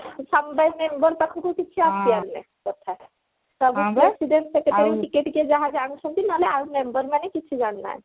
ସମବାୟ ସମିତି member ପାଖକୁ କିଛି ଆସିବାର ନାହିଁ କଥା ସବୁ president secretary ଟିକେ ଟିକେ ଯାହା ଜାଣୁଛନ୍ତି ନହେଲେ ଆଉ member ମାନେ କିଛି ଜାଣୁ ନାହାନ୍ତି